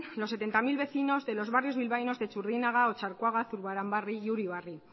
los setenta mil vecinos de los barrios bilbaínos de txurdinaga otxarkoaga zurbaranbarri y uribarri